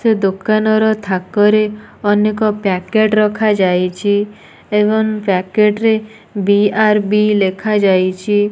ସେ ଦୋକାନ ର ଥାକରେ ଆନେକ ପ୍ୟକେଟ ରଖାଯାଇଛି ଏବଂ ପ୍ୟକେଟ ରେ ବି_ର_ବି ଲେଖାଯାଇଛି।